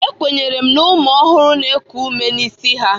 Ekwenyere na ụmụ ọhụrụ na-eku ume n'isi ha.